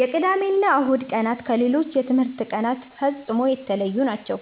የቅዳሜና እሁድ ቀናት ከሌሎች የትምህርት ቀናት ፍጹም የተለዩ ናቸው።